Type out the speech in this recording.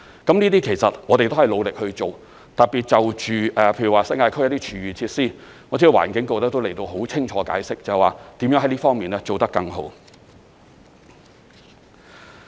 這些其實我們都是努力去做，特別就着例如新界區一些廚餘設施，我知道環境局已很清楚地解釋如何在這方面做得更好。